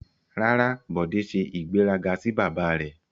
Rara, Bode se igberaga si baba re